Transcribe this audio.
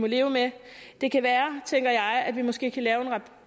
leve med det kan være tænker jeg at vi måske kan lave